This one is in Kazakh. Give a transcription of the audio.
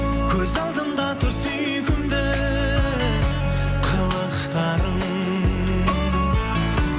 көз алдымда тұр сүйкімді қылықтарың